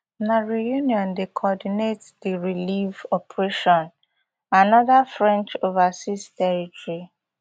na reunion dey coordinate di relief operation anoda french overseas territory